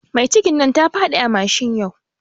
Mai cikin nan tafiɗi a mashin yau